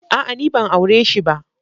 A'a! Ni ban aure shi ba.